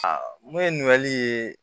mun ye ɲininkali ye